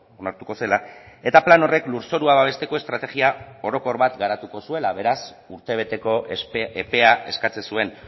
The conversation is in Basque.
onartuko zela eta plan horrek lurzorua babesteko estrategia orokor bat garatuko zuela beraz urtebeteko epea eskatzen zuen